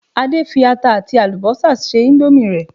Adé fi ata àti àlùbọ́sà se indomie rẹ̀